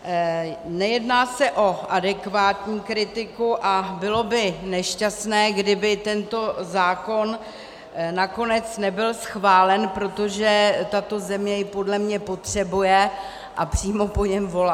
Nejedná se o adekvátní kritiku a bylo by nešťastné, kdyby tento zákon nakonec nebyl schválen, protože tato země jej podle mě potřebuje a přímo po něm volá.